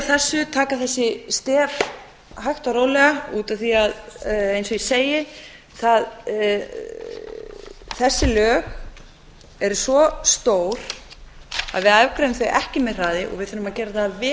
á þessu taka þessi stef hægt og rólega út af því að eins og ég segi þessi lög eru svo stór að við afgreiðum þau ekki með hraði og við þurfum að gera það að vel